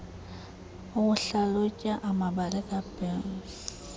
ukuhlalutya amabali kaburns